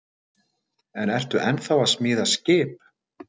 En ertu ennþá að smíða skip?